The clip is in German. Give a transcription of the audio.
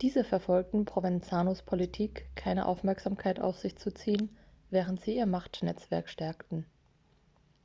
diese verfolgten provenzanos politik keine aufmerksamkeit auf sich zu ziehen während sie ihr machtnetzwerk stärkten